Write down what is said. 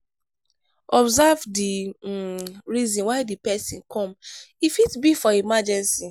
observe di um reason why di person come e fit be for emergency